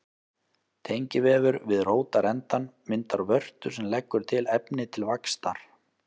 Tengivefur við rótarendann myndar vörtu sem leggur til efni til vaxtar.